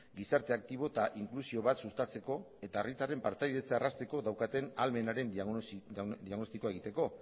gizarte aktibo eta inklusio bat sustatzeko eta herritarren partaidetza errazteko daukaten ahalmenaren diagnostikoa egiteko